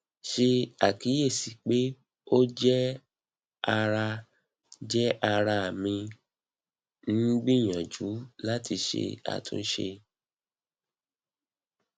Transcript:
ṣe akiyesi pe o jẹ ara jẹ ara mi n gbiyanju lati ṣe atunṣe